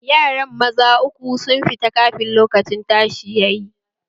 Yaran maza uku sun fita kafin lokacin tashi yayi